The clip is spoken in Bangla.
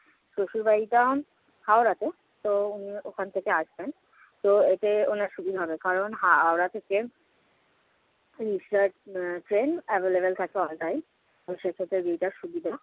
শশুর বাড়িটা হাওড়াতে, তো ওখান থেকে আসবেন। তো এতে উনার সুবিধা হবে, কারণ হাওড়া থেকে ওড়িশ্যার আহ ট্রেন available থাকে all time এবং সেক্ষেত্রে দিদিটার সুবিধা